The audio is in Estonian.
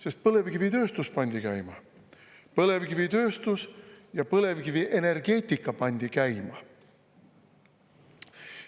Sest põlevkivitööstus pandi käima, põlevkivitööstus ja põlevkivienergeetika pandi käima.